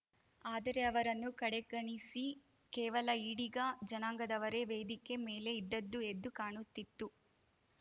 ಆದರೆ ಅವರನ್ನು ಕಡೆಗಣಿಸಿ ಕೇವಲ ಈಡಿಗ ಜನಾಂಗದವರೆ ವೇದಿಕೆ ಮೇಲೆ ಇದ್ದದ್ದು ಎದ್ದು ಕಾಣುತ್ತಿತ್ತು